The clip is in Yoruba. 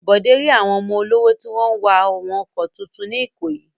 Bọ̀dé rí àwọn ọmọ olówó tí wọ́n ń wa àwọn ọkọ̀ tuntun ní Ìkòyí.